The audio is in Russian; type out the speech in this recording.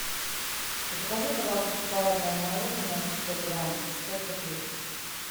закажи пожалуйста шоколадное мороженое пятьсот грамм пять копеек